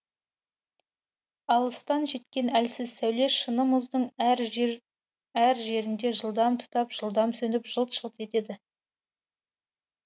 алыстан жеткен әлсіз сәуле шыны мұздың әр жер әр жерінде жылдам тұтап жылдам сөніп жылт жылт етеді